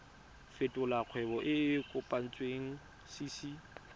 fetolela kgwebo e e kopetswengcc